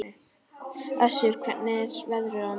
Össur, hvernig er veðrið á morgun?